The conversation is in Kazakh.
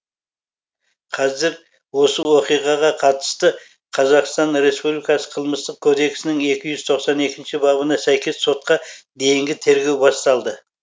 қазір осы оқиғаға қатысты қр қылмыстық кодекстің екі жүз тоқсан екінші бабына сәйкес сотқа дейінгі тергеу басталды